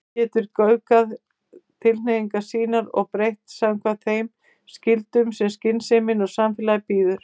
Hann getur göfgað tilhneigingar sínar og breytt samkvæmt þeim skyldum sem skynsemin og samfélagið býður.